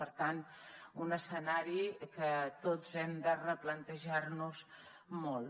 per tant un escenari que tots hem de replantejar nos molt